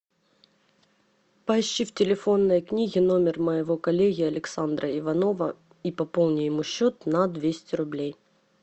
поищи в телефонной книге номер моего коллеги александра иванова и пополни ему счет на двести рублей